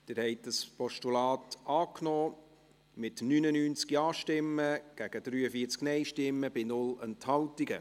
Sie haben das Postulat angenommen, mit 99 Ja- gegen 43 Nein-Stimmen bei 0 Enthaltungen.